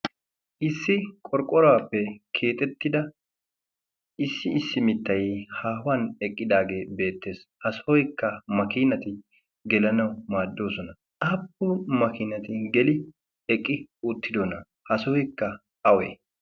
issi qorqqoraappe keexettida issi issi mittai haahuwan eqqidaagee beettees. ha sohoikka makiinati gelanau maaddoosona aappu makiinati geli eqqi uttidona? ha suhuikka awe?